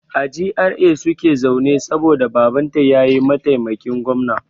A GRA suke zaune saboda Babanta ya yi maitaimakin gwamna.